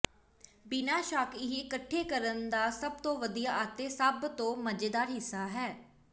ਬਿਨਾਂ ਸ਼ੱਕ ਇਹ ਇਕੱਠੇ ਕਰਨ ਦਾ ਸਭ ਤੋਂ ਵਧੀਆ ਅਤੇ ਸਭ ਤੋਂ ਮਜ਼ੇਦਾਰ ਹਿੱਸਾ ਹੈ